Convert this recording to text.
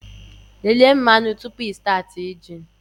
Lelee mmanụ tupu ịstaatị a injin!